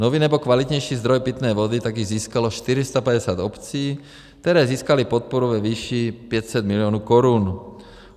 Nový nebo kvalitnější zdroj pitné vody tak získalo 450 obcí, které získaly podporu ve výši 500 milionů korun.